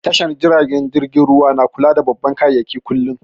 Tashar jiragen ruwa na kula da babban kayayyaki kullum